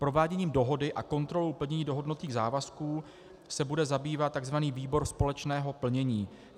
Prováděním dohody a kontrolou plnění dohodnutých závazků se bude zabývat tzv. výbor společného plnění.